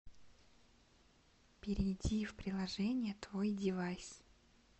перейди в приложение твойдевайс